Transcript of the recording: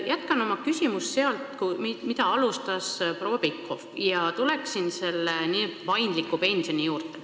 Ma jätkan oma küsimusega teemal, millest rääkis proua Pikhof, ja tulen selle n-ö paindliku pensioni juurde.